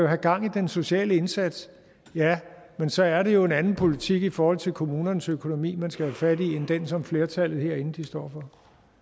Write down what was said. have gang i den sociale indsats men så er det jo en anden politik i forhold til kommunernes økonomi man skal have fat i end den som flertallet herinde står